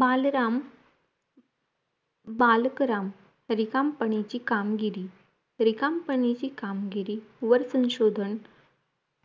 बालराम बालकराम रिकामपणिची कामगिरी रिकामपणेची कामगिरी वर्तनशोधन